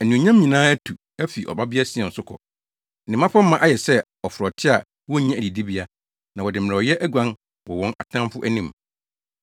Anuonyam nyinaa atu afi Ɔbabea Sion so kɔ. Ne mmapɔmma ayɛ sɛ aforote a wonnya adidibea; na wɔde mmerɛwyɛ aguan wɔ wɔn ataafo anim.